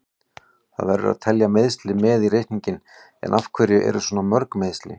Það verður að telja meiðsli með í reikninginn, en af hverju eru svona mörg meiðsli?